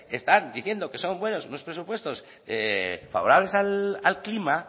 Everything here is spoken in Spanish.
están diciendo que son buenos unos presupuestos favorables al clima